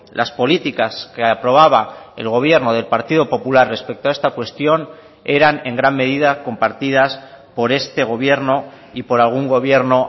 las políticas que aprobaba el gobierno del partido popular respecto a esta cuestión eran en gran medida compartidas por este gobierno y por algún gobierno